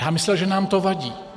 Já myslel, že nám to vadí.